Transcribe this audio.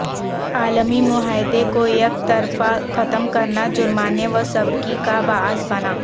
عالمی معاہدے کو یک طرفہ ختم کرنا جرمانے و سبکی کا باعث بنا